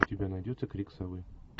у тебя найдется крик совы